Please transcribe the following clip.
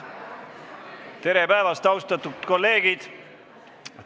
Tere päevast, austatud kolleegid!